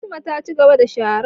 Fatima, cigaba da sharar